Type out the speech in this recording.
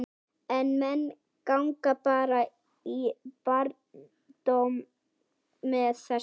Og menn ganga bara í barndóm með þessu?